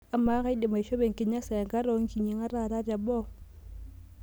amaa kaidim aishopo enkinyasa enkata oonkinyiang'at taata teboo